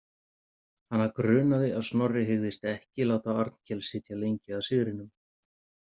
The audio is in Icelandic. Hana grunaði að Snorri hygðist ekki láta Arnkel sitja lengi að sigrinum.